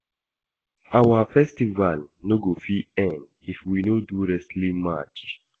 Our festival no go fit end if we no do wrestling match